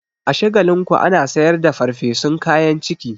A Shagalinku ana sayar da farfesun kayan ciki.